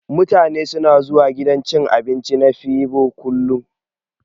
Mutane suna zuwa gidan cin abinci na febo kullun.